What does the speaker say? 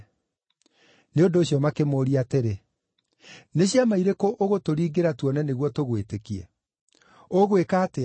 Nĩ ũndũ ũcio makĩmũũria atĩrĩ, “Nĩ ciama irĩkũ ũgũtũringĩra tuone nĩguo tũgwĩtĩkie? Ũgwĩka atĩa?